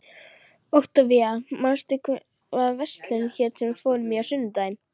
Októvía, manstu hvað verslunin hét sem við fórum í á sunnudaginn?